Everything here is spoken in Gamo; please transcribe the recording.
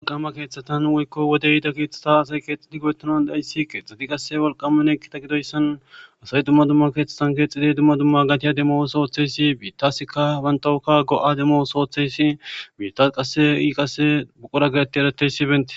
Walqama keeththatan woykko wode yida keeththata asay keexxidi go7etonan ayssi keexxidi qasse walqamanekita gidoyssan asay dumma dumma keeththatan keexiday dumma dumma gatiya demo sooththeysi biittaska bantawuka go7a demo sootheyssi biitas qasse i qasse buqura gaeti erateysi bente.